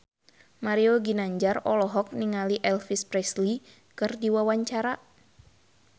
Mario Ginanjar olohok ningali Elvis Presley keur diwawancara